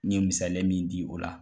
N ye misaliya n min di o la